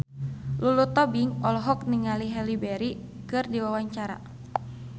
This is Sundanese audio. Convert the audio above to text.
Lulu Tobing olohok ningali Halle Berry keur diwawancara